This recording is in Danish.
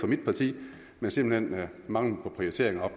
mit parti men simpelt hen mangel på prioritering af